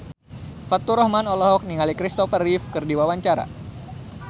Faturrahman olohok ningali Kristopher Reeve keur diwawancara